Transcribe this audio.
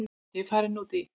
Ég er farin út í.